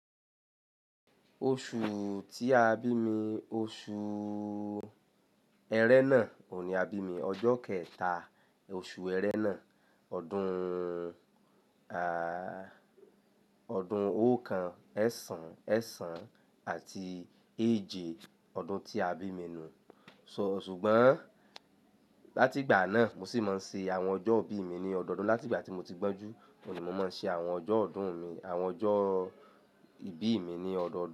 Oṣù tí a bí mi, oṣù ẹrẹ́nà, òní a bí mi ọjọ́ kẹta, oṣù ẹrẹ́nà, ọdún, à, ọdún oókan ẹsán, ẹsán àti èje ọdún tí a bí mi nù. So- ṣùgbọ́n láti ìgbà náà mo sì máa ń ṣe àwọn ọjọ́ ìbí mi ní ọdọọdún. Láti ìgbà tí mo ti gbọ́njú, òní mo máa ń ṣe àwọn ọjọ́ ọdún mi, àwọn ọjọ́ ìbí mi ní ọdọọdún.